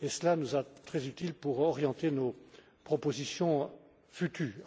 et cela nous sera très utile pour orienter nos propositions futures.